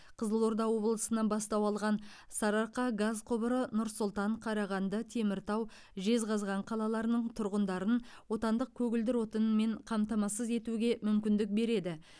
қызылорда облысынан бастау алған сарыарқа газ құбыры нұр сұлтан қарағанды теміртау жезқазған қалаларының тұрғындарын отандық көгілдір отынмен қамтамасыз етуге мүмкіндік береді